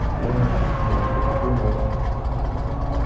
я вот например буду пилотом